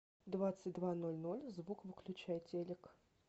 в двадцать два ноль ноль звук выключай телек